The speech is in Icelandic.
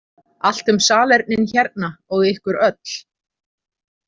Allt um salernin hérna og ykkur öll.